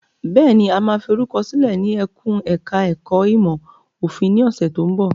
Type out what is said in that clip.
Bẹ́ẹ̀ni, a máa forúkọ sílẹ̀ ní ẹkùn ẹ̀ka ẹ̀kó ìmọ̀ òfin ní ọ̀sẹ̀ tó ń bọ̀.